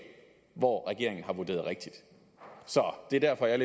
hvor regeringen har vurderet rigtigt så det er derfor jeg